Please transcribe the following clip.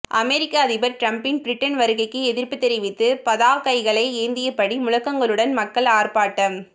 அமெரிக்க அதிபர் டிரம்பின் பிரிட்டன் வருகைக்கு எதிர்ப்பு தெரிவித்து பதாகைகளை ஏந்தியபடி முழக்கங்களுடன் மக்கள் ஆர்ப்பாட்டம்